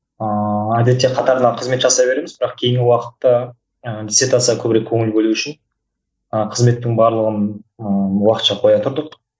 ааа әдетте қатарынан қызмет жасай береміз бірақ кейінгі уақытта ы дессертацияға көбірек көңіл бөлу үшін ы қызметтің барлығын ыыы уақытша қоя тұрдық